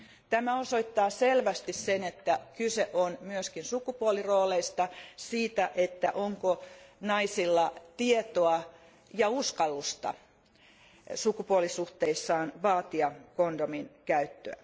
Tämä osoittaa selvästi, että kyse on myöskin sukupuolirooleista, siitä, että onko naisilla tietoa ja uskallusta vaatia sukupuolisuhteissaan kondomin käyttöä.